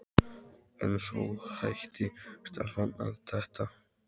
En svo hætti stelpan að detta.